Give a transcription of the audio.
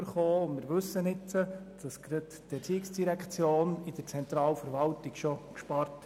Aber uns wurde auch gesagt, gerade die ERZ habe innerhalb der Zentralverwaltung bereits viel gespart.